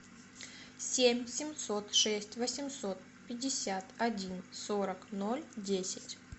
семь семьсот шесть восемьсот пятьдесят один сорок ноль десять